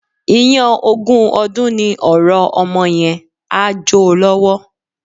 Iyán ogún ọdún ni ọ̀rọ̀ ọmọ yẹn, á jo lọ́wọ́.